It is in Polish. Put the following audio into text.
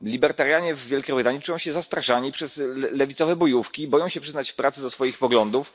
Libertarianie w Wielkiej Brytanii czują się zastraszani przez lewicowe bojówki i boją się przyznać w pracy do swoich poglądów.